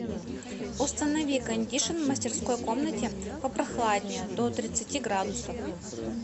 установи кондишн в мастерской комнате попрохладнее до тридцати градусов